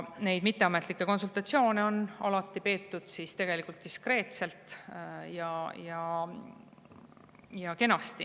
Neid mitteametlikke konsultatsioone on tegelikult alati peetud diskreetselt ja kenasti.